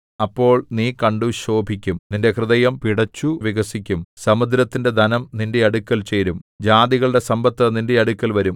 അപ്പോൾ നീ കണ്ടു ശോഭിക്കും നിന്റെ ഹൃദയം പിടച്ചു വികസിക്കും സമുദ്രത്തിന്റെ ധനം നിന്റെ അടുക്കൽ ചേരും ജാതികളുടെ സമ്പത്ത് നിന്റെ അടുക്കൽ വരും